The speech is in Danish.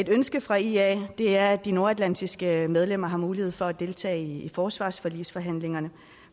ønske fra ia er at de nordatlantiske medlemmer har mulighed for at deltage i forsvarsforligsforhandlingerne